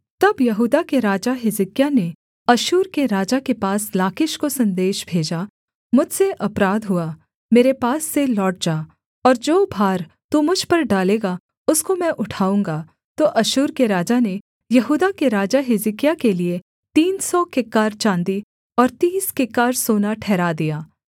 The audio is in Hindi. तब यहूदा के राजा हिजकिय्याह ने अश्शूर के राजा के पास लाकीश को सन्देश भेजा मुझसे अपराध हुआ मेरे पास से लौट जा और जो भार तू मुझ पर डालेगा उसको मैं उठाऊँगा तो अश्शूर के राजा ने यहूदा के राजा हिजकिय्याह के लिये तीन सौ किक्कार चाँदी और तीस किक्कार सोना ठहरा दिया